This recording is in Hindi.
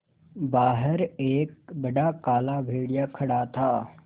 बाहर एक बड़ा काला भेड़िया खड़ा था